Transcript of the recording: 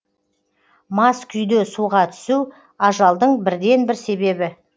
мас күйде суға түсу ажалдың бірден бір себебі